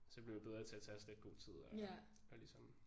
Så blev vi bedre til at tage os lidt godt tid og og ligesom